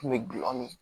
Kun bɛ gulɔ mi